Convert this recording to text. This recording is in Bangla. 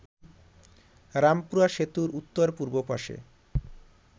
রামপুরা সেতুর উত্তর-পূর্ব পাশে